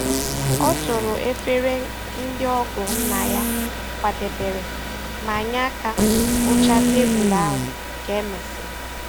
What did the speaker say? O toro efere ndị ọgọ nna ya kwadebere ma nye aka kpochaa tebụl ahụ ka e mesịrị.